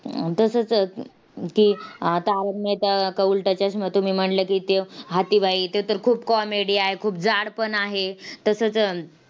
आह तसंच~ की तारक मेहता का उलटा चष्मा तुम्ही म्हणलं की, ते हाथी भाई ते तर खूप comedy आहे, खूप जाड पण आहे. तसंच